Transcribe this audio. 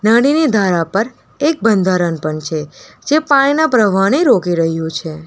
નદીની ધારા પર એક બંધારણ પણ છે જે પાણીના પ્રવાહને રોકી રહ્યું છે.